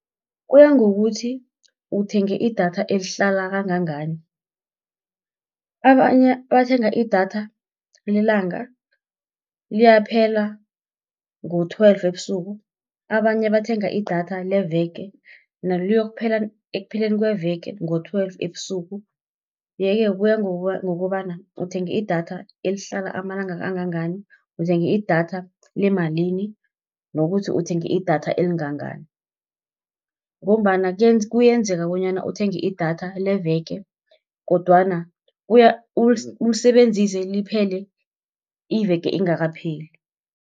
Kuya ngokuthi uthenge idatha elihlala kangangani, abanye bathenga idatha lelanga, liyaphela ngo-twelve ebusuku. Abanye bathenga idatha leveke, nalo liyokuphela ekupheleni kweveke ngo-twelve ebusuku. Yeke kuya ngokobana uthenge idatha elihlala amalanga angangani, uthengi idatha lemalini nokuthi uthenge idatha elingangani, ngombana kuyenzeka bonyana uthenge idatha leveke, kodwana ulisebenzise liphele, iveke ingakapheli.